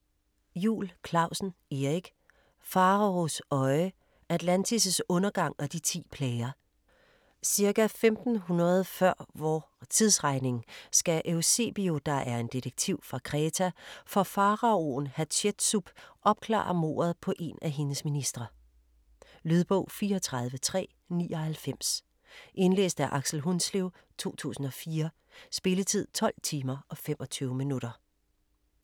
Juul Clausen, Erik: Faraos øje: Atlantis' undergang og de ti plager Ca. 1500 før vor tidsregning skal Eusebio, der er en detektiv fra Kreta, for faraoen Hatshetsup opklare mordet på en af hendes ministre. Lydbog 34399 Indlæst af Aksel Hundslev, 2004. Spilletid: 12 timer, 25 minutter.